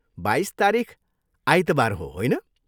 बाइस तारिख आइतबार हो, होइन?